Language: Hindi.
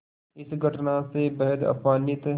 इस घटना से बेहद अपमानित